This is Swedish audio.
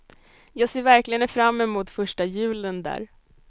Jag ser verkligen fram emot första julen där.